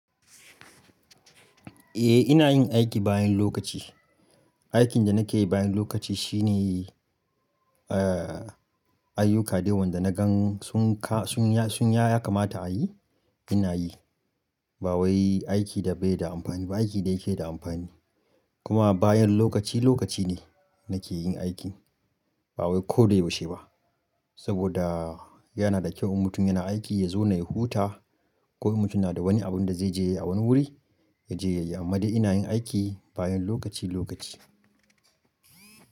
Eh ina yin aiki bayan lokaci. Aikin da nake yi bayan lokaci shine, eh ayyuka dai wan da na gan sun ka-- sun ya-- sun ya ya kamata a yi, ina yi. Ba wai aiki da bai da amfani ba, aikin da yake da amfani. Kuma bayan lokaci lokaci ne nake yin aikin. Ba wai ko dai yaushe ba. Saboda yana da kyau mutum yana aiki yazauna ya huta ko mutum na da wani abun da zai je a wani wuri, ya je ya yi. Amma dai ina yin aiki bayan lokaci lokaci.